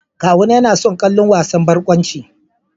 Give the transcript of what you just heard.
Kawuna yana son kallon wasan barkwanci.